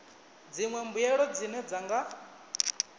dziṅwe mbuelo dzine dza nga